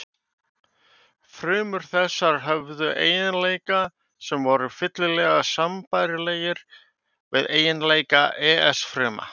Frumur þessar höfðu eiginleika sem voru fyllilega sambærilegir við eiginleika ES fruma.